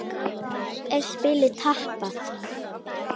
Nú er spilið tapað.